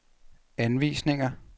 anvisninger